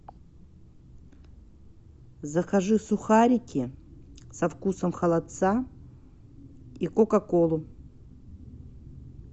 закажи сухарики со вкусом холодца и кока колу